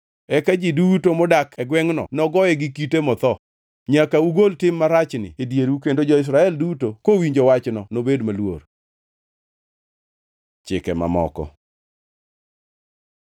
Eka ji duto modak e gwengʼno nogoye gi kite motho. Nyaka ugol tim marachni e dieru kendo jo-Israel duto kowinjo wachno nobed maluor. Chike mamoko